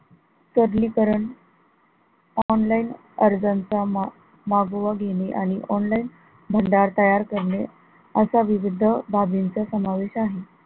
सबलीकरण online अर्जाचा मा मागोवा घेणे आणि online भांडार तयार करणे असा विविध बाबींचा समावेश आहे.